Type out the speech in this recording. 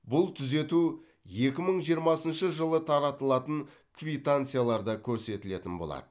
бұл түзету екі мың жиырмасыншы жылы таратылатын квитанцияларда көрсетілетін болады